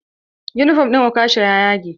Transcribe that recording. Yunifom ɗin okasha ya yage.